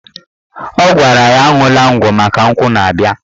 Ọ gwara ya aṅwụla ngwọ maka nkwụ na-abịa